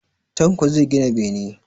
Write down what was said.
Tanko zai gina bene